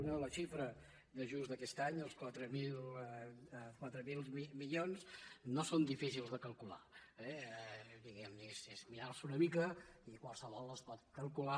una la xifra d’ajust d’aquest any els quatre mil milions no són difícils de calcular eh diguem que és mirar s’ho una mica i qualsevol els pot calcular